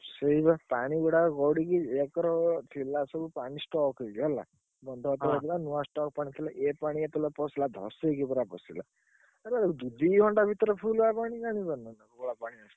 ସେଇ ବା ପାଣିଗୁଡାକ ଗଡିକି ଏକର ଥିଲା ସବୁ ପାଣି stock ହେଇକି ହେଲା ନୂଆ stock ପାଣି ଥିଲା